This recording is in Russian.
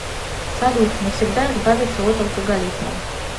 салют навсегда избавиться от алкоголизма